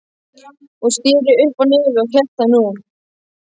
Hún sneri upp á nefið og hélt það nú.